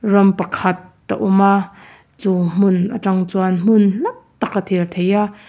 ram pakhat a awm a chu hmun atang chuan hmun hla taka thlir theih a.